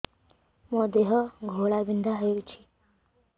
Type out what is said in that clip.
ମୋ ଦେହ ଘୋଳାବିନ୍ଧା ହେଉଛି